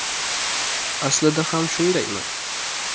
Aslida ham shundaymi?.